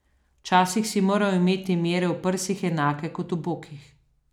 Včasih si moral imeti mere v prsih enake kot v bokih.